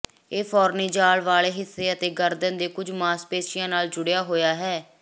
ਇਹ ਫੌਰਨੀਜਾਲ ਵਾਲੇ ਹਿੱਸੇ ਅਤੇ ਗਰਦਨ ਦੇ ਕੁਝ ਮਾਸਪੇਸ਼ੀਆਂ ਨਾਲ ਜੁੜਿਆ ਹੋਇਆ ਹੈ